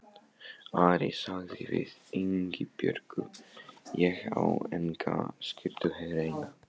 Ari sagði við Ingibjörgu: Ég á enga skyrtu hreina.